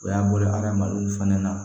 O y'a bolo hadamadenw fana na